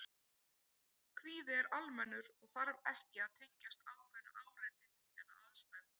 Kvíði er almennur og þarf ekki að tengjast ákveðnu áreiti eða aðstæðum.